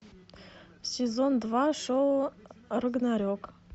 сезон два шоу рагнарек